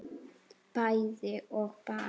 bæði og bara